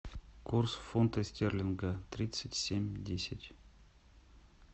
курс фунта стерлинга тридцать семь десять